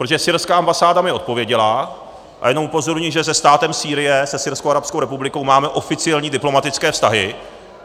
Protože syrská ambasáda mně odpověděla, a jenom upozorňuji, že se státem Sýrie, se Syrskou arabskou republikou, máme oficiální diplomatické vztahy.